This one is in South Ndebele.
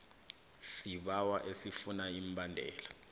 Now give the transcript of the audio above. sibawo esifuna imbadelo